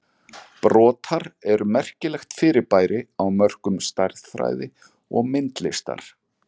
Brotar eru merkilegt fyrirbæri á mörkum stærðfræði og myndlistar.